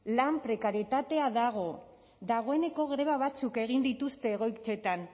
lan prekarietatea dago dagoeneko greba batzuk egin dituzte egoitzetan